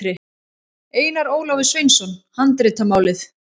Einar Ólafur Sveinsson, Handritamálið.